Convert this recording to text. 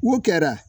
O kɛra